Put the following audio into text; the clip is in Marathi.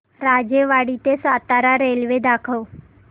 राजेवाडी ते सातारा रेल्वे दाखव